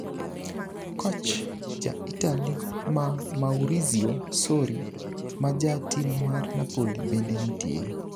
Coch ja Italy ma Maurizio Sorri ma ja tim mar Napoli bende nitie.